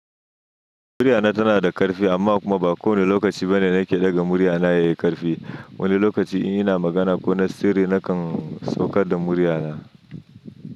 Muryana tana da ƙarfi amma kuma ba kowane lokaci bane nake ɗaga muryana yayi ƙarfi. Wani lokaci in ina magana ko na sirri na kan saukar da muryana.